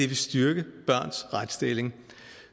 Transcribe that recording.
vil styrke børns retsstilling